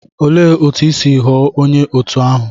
Olee otú i si ghọọ onye òtù ahụ?